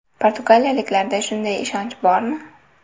Portugaliyaliklarda shunday ishonch bormi?